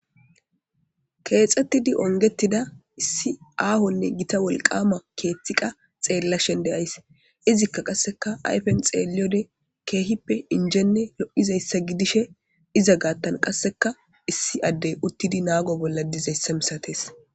Keexxettidi ongettida issi aahonne gita wolqama keethtiqa xeella shende ays izikka qasseka ayfen xeeliyode keehippe injenne lo'izayssa gidishe iza gaattan qasseka issi addey uttidi naago bolla dizayssa misates.